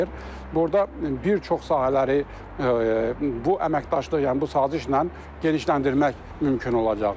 Burda bir çox sahələri bu əməkdaşlıq, yəni bu sazişlə genişləndirmək mümkün olacaqdır.